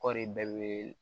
Kɔɔri bɛɛ bɛ